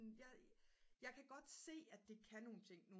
jeg kan godt se at det kan nogen ting